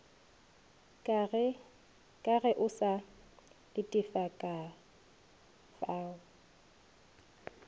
ka ge o sa letekafao